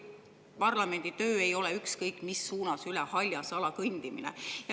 Parlamendi töö ei ole ükskõik mis suunas üle haljasala kõndimine.